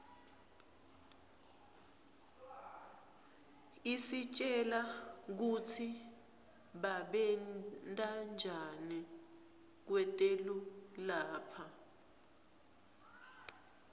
isitjela kutsi babentanjani kwetelu lapha